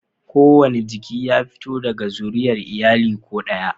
Kowane jiki ya fito daga zuriyar iyali ko ɗayan